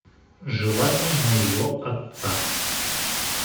желание моего отца